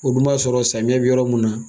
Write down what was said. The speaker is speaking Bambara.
O kun b'a sɔrɔ samiya bɛ yɔrɔ mun na.